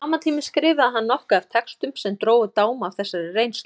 Á sama tíma skrifaði hann nokkuð af textum sem drógu dám af þessari reynslu.